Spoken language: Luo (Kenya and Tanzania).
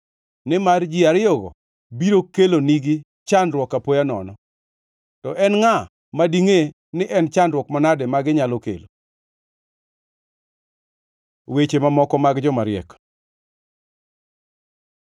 nimar ji ariyogo biro kelonegi chandruok apoya nono, to en ngʼa ma dingʼe ni en chandruok manade ma ginyalo kelo? Weche mamoko mag jomariek